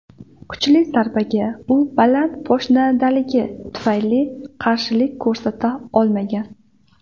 Kuchli zarbaga u baland poshnadaligi tufayli qarshilik ko‘rsata olmagan.